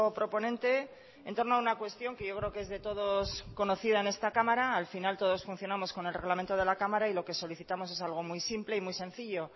proponente en torno a una cuestión que yo creo que es de todos conocida en esta cámara al final todos funcionamos con el reglamento de la cámara y lo que solicitamos es algo muy simple y muy sencillo